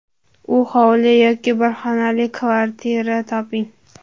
U hovli yoki bir xonali kvartira toping.